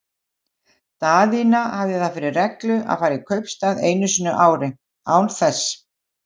Daðína haft það fyrir reglu að fara í kaupstað einu sinni á ári, án þess